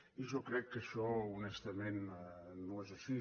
i jo crec que això honestament no és així